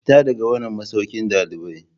Fita daga wannan masaukin dalibai.